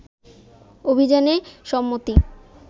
অভিযানে সম্মতি